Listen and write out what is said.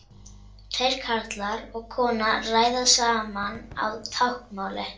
Tveir karlar og kona ræða saman á táknmáli.